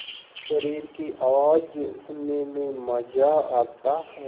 शरीर की आवाज़ सुनने में मज़ा आता है